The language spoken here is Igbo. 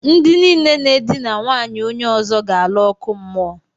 Ndi niile na e dina nwaanyị onye ozo ga ala oku muo.